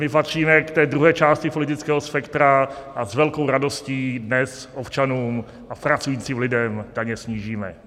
My patříme k té druhé části politického spektra a s velkou radostí dnes občanům a pracujícím lidem daně snížíme.